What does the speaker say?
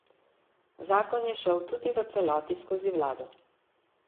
Zakon je šel tudi v celoti skozi vlado.